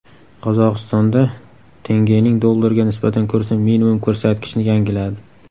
Qozog‘istonda tengening dollarga nisbatan kursi minimum ko‘rsatkichni yangiladi.